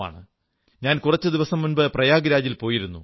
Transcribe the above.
ഞാൻ കുറച്ചു ദിവസം മുമ്പ് പ്രയാഗ് രാജിൽ പോയിരുന്നു